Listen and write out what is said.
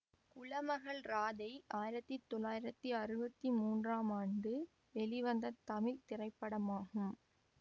குலமகள் ராதை ஆயிரத்தி தொள்ளாயிரத்தி அறுபத்தி மூன்றாம் ஆண்டு வெளிவந்த தமிழ் திரைப்படமாகும்